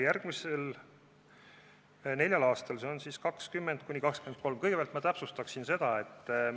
Järgmisel neljal aastal, see on siis 2020–2023, on plaan selline.